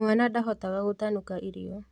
Mwana ndahotaga gũtanuka irio